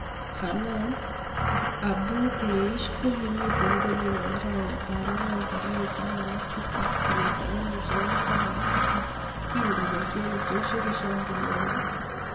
Hanan Abu-Kleish ko kimiten Konyin en arawet ap angwan tarigit taman ag tisap 2017 kin kopwa chelesoshek koshambulionjin.